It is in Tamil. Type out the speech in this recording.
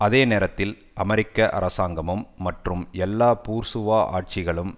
அதே நேரத்தில் அமெரிக்க அரசாங்கமும் மற்றும் எல்லா பூர்சுவா ஆட்சிகளும்